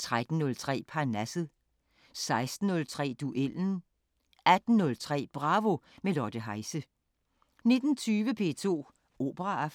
13:03: Parnasset 16:03: Duellen 18:03: Bravo – med Lotte Heise 19:20: P2 Operaaften